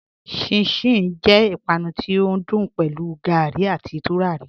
Chin-chin jẹ ìpànù tí o dùn pẹ̀lú gárí àti túràrí.